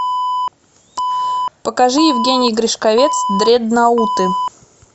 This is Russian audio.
покажи евгений гришковец дредноуты